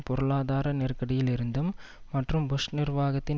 பொருளாதார நெருக்கடியிலிருந்தும் மற்றும் புஷ் நிர்வாகத்தின்